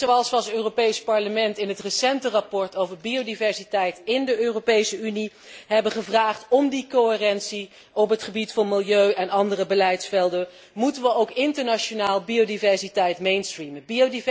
Net zoals we als Europees Parlement in het recente verslag over biodiversiteit in de Europese Unie hebben gevraagd om die coherentie op het gebied van milieu en andere beleidsvelden, moeten we ook internationaal biodiversiteit mainstreamen.